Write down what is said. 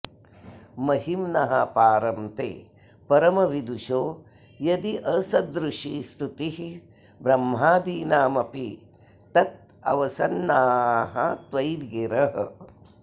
महिम्नः पारं ते परमविदुषो यद्यसदृशी स्तुतिर्ब्रह्मादीनामपि तदवसन्नास्त्वयि गिरः